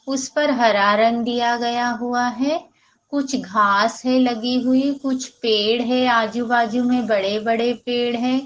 उस पर हरा रंग दिया गया हुआ है कुछ घास है लगी हुई कुछ पेड़ है आजू बाजू में बड़े बड़े पेड़ है।